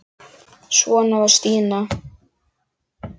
Svona var Stína.